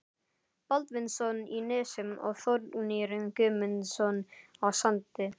Baldvinsson í Nesi og Þórgnýr Guðmundsson á Sandi.